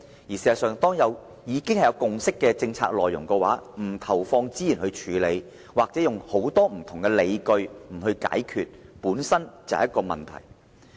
事實上，對於已有共識的政策，政府不投放資源來處理，或以很多不同的理由來不處理，本身便是一個問題。